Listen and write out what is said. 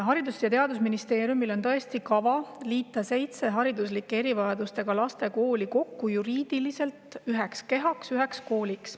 Haridus- ja Teadusministeeriumil on tõesti kavas liita seitse hariduslike erivajadustega laste kooli üheks juriidiliseks kehaks, üheks kooliks.